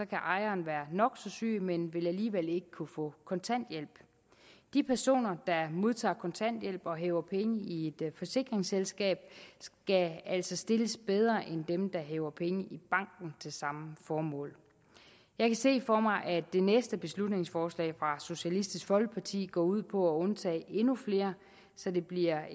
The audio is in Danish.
kan ejeren være nok så syg men vil alligevel ikke kunne få kontanthjælp de personer der modtager kontanthjælp og hæver penge i et forsikringsselskab skal altså stilles bedre end dem der hæver penge i banken til samme formål jeg kan se for mig at det næste beslutningsforslag fra socialistisk folkeparti vil gå ud på at undtage endnu flere så det bliver